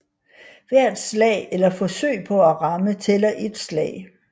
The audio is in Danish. Hvert slag eller forsøg på at ramme tæller ét slag